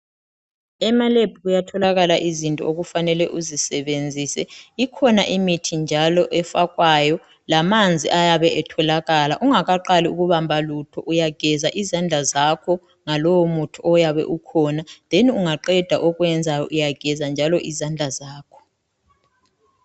Emalab kuyatholakala izinto okufanele uzisebenzise ikhona imithi njalo efakwayo lamanzi ayabe etholakala ungakaqali ukubamba lutho uyageza izandla zakho ngalowo muthi oyabe ukhona then ungaqeda okwenzayo uyageza njalo izandla zakho.